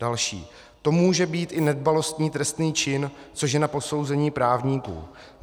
Další: "To může být i nedbalostní trestný čin, což je na posouzení právníků.